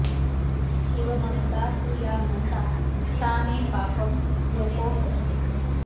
शिवभक्ता तु या नन्दा सा मे पापं व्यपोहतु